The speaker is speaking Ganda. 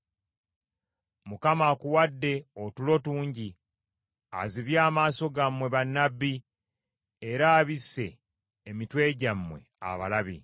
Mukama akuwadde otulo tungi, azibye amaaso gammwe bannabbi, era abisse emitwe gyammwe abalabi.